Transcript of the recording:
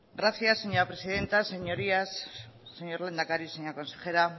gracias señora presidenta señorías señor lehendakari señora consejera